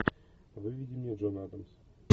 выведи мне джон адамс